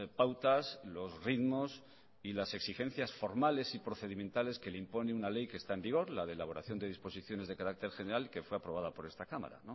pautas los ritmos y las exigencias formales y procedimentales que le impone una ley que está en vigor la de elaboración de disposiciones de carácter general que fue aprobada por esta cámara